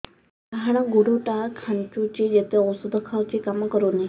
ଡାହାଣ ଗୁଡ଼ ଟା ଖାନ୍ଚୁଚି ଯେତେ ଉଷ୍ଧ ଖାଉଛି କାମ କରୁନି